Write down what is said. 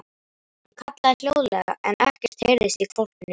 Hann kallaði hljóðlega en ekkert heyrðist í hvolpinum.